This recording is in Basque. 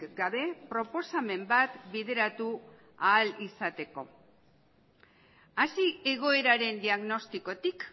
gabe proposamen bat bideratu ahal izateko hasi egoeraren diagnostikotik